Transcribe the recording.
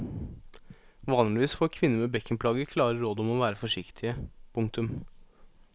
Vanligvis får kvinner med bekkenplager klare råd om å være forsiktige. punktum